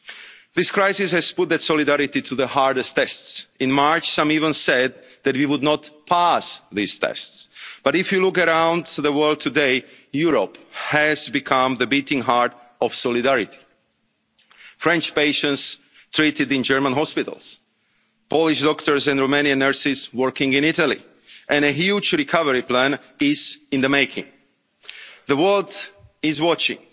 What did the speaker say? This crisis has put that solidarity to the hardest of tests. In March, some even said that we would not pass these tests. But, if you look around the world today, Europe has become the beating heart of solidarity French patients treated in German hospitals, Polish doctors and Romanian nurses working in Italy, and a huge recovery plan is in the making. The world